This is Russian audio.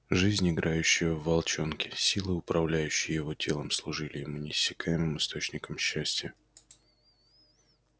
жизнь играющая в волчонке силы управляющие его телом служили ему неиссякаемым источником счастья